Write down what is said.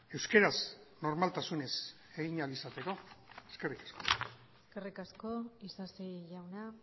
euskaraz normaltasunez egin ahal izateko eskerrik asko eskerrik asko isasi jauna